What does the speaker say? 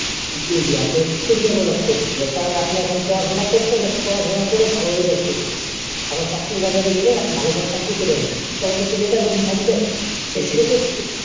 জি জি, আপনার Skill develop করতে হবে, কারণ আপনি এখন পড়াশোনা করছেন just পড়াশোনা করে ভালো result করতেছেন, এখন চাকরির বাজারে গেলেন, ভালো কোনো চাকরি পেলেন না, তাহলে তো বেকার বসে থাকবেন সে ক্ষেত্রে,